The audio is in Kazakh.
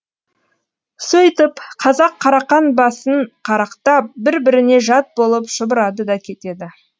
сөйтіп қазақ қарақан басын қарақтап бір біріне жат болып шұбырады да кетеді